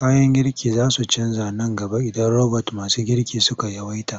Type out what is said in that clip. Kayan girki za su canja nan gaba idan robot masu girki suka yawaita.